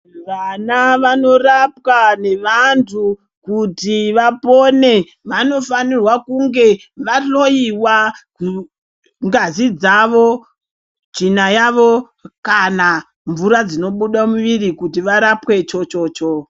Vana vanorapwa nevantu kuti vapone vanofanirwa kunge vahloiwa ngazi dzavo, tsvina yavo kana mvura dzinobuda muviri kuti varapwe chochocho.